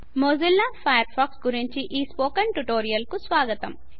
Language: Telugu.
మొజిల్లా ఫయర్ ఫాక్స్ గురించి ఈ స్పోకెన్ ట్యుటోరియల్ కు స్వాగతం